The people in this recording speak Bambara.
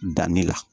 Danni la